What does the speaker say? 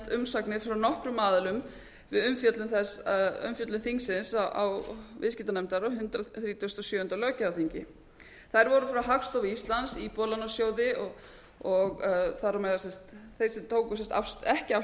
umsagnir frá nokkrum aðilum við umfjöllun þingsins á viðskiptanefndar á hundrað þrítugasta og sjöunda löggjafarþingi þær voru frá hagstofu íslands íbúðalánasjóði og þar á meðal þeir sem tóku ekki afstöðu